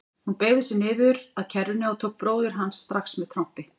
Hún beygði sig niður að kerrunni og tók bróður hans strax með trompi.